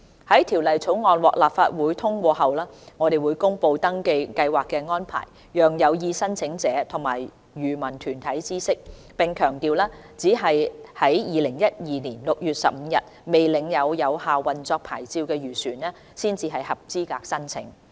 在《條例草案》獲立法會通過後，我們會公布登記計劃的安排，讓有意申請者和漁民團體知悉，並強調只有在2012年6月15日未領有有效運作牌照的漁船才合資格申請。